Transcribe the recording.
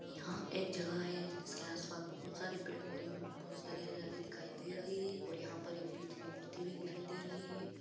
यहां एक जगह है जिसके आस-पास बहुत सारे पेड़-पौधे और बहुत सारी हरियाली दिखाई दे रही है और यहां पर एक बीच मे मूर्ति भी दिखाई दे रही है।